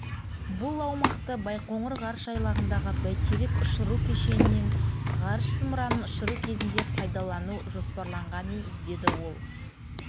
бұл аумақты байқоңыр ғарыш айлағындағы бәйтерек ұшыру кешенінен ғарыш зымыранын ұшыру кезінде пайдалану жоспарланғанй деді ол